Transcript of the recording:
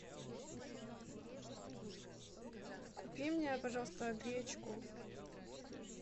купи мне пожалуйста гречку